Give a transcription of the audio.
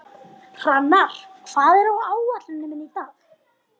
Hrannar, hvað er á áætluninni minni í dag?